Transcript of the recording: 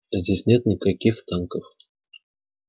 а здесь нет никаких танков